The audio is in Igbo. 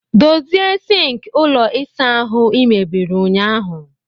Dozie sink ụlọ ịsa ahụ ị mebiri ụnyaahụ!